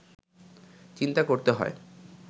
চিন্তা করতে হয়